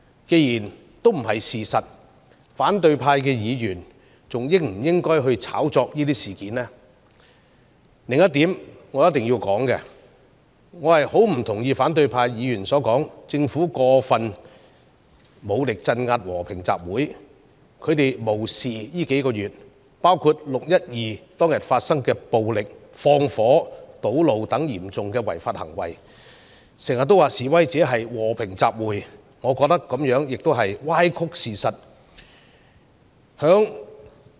既然不是事實，反對派議員還應否炒作這些事件呢？必須指出的另一點是，我極不同意反對派議員指稱政府使用過分武力鎮壓和平集會。他們無視在這數個月間，包括"六一二"當天發生的暴力、放火和堵路等嚴重違法行動，經常說示威者是進行和平集會，我認為這亦是歪曲事實。